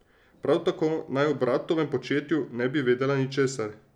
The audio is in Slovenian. Prav tako naj o bratovem početju ne bi vedela ničesar.